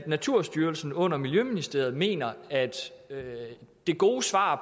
naturstyrelsen under miljøministeriet mener det gode svar